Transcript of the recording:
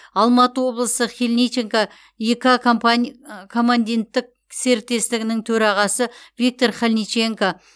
алматы облысы хильниченко коммандиттік серіктестігінің төрағасы виктор хильниченко